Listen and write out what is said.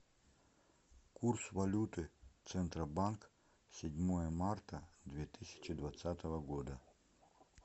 курс валюты центробанк седьмое марта две тысячи двадцатого года